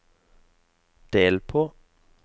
del på